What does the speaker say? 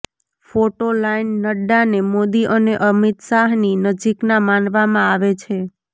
photo line નડ્ડાને મોદી અને અમિત શાહની નજીકના માનવામાં આવે છે